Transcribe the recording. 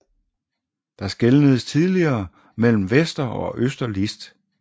Der skelnedes tidligere mellem Vester og Øster List